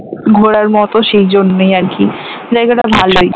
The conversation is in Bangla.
ঘোরার মত সেই জন্যই আরকি জায়গাটা ভালোই